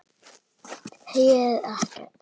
Heyrir ekkert.